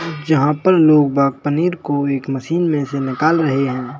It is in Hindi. जहां पर लोग बाग पनीर को एक मशीन में से निकाल रहे हैं।